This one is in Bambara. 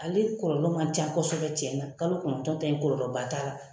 Ale kɔlɔlɔ man ca kosɛbɛ tiɲɛna, kalo kɔnɔntɔn ta in kɔlɔlɔ ba t'a la.